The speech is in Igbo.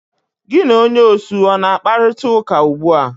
Gi na onye osu ọ na akparịtaụka ụgbụa?